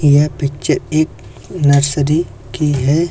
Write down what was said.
यह पिक्चर एक नर्सरी की है।